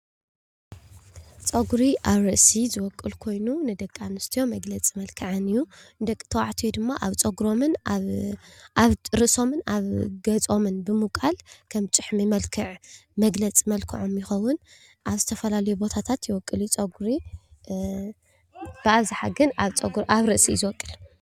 ፀጉር ኣብ ርእስ ዝበቁል ኮይኑ ንደቂ እንስትዮ መግለፅ መልከዐን እዩ፡፡ ደቂ ተባዕትዮ ድማ ኣብ ፀጉሮምን ኣብ ርእሶምን ኣብ ገፆምን ብምብቃል ከም ጭሕምን መልክዕ መግለጺ መልክዖም ይኮዉን። ኣብ ዝተፋላለዩ ቦታታት ይቦቁል እዩ ፀጉሪ ብኣብዛሓ ግን ኣብ ፀጉሪ ርእስ እዩ ዝቦቁል፡፡